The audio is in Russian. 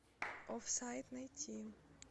офсайд найти